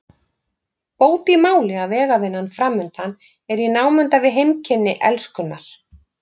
Bót í máli að vegavinnan framundan er í námunda við heimkynni Elskunnar.